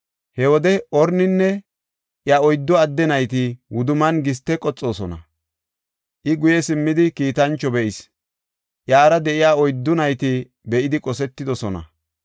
He wode Orninne iya oyddu adde nayti wudumman giste qoxoosona. I guye simmidi kiitancho be7is; iyara de7iya oyddu nayti be7idi qosetidosona.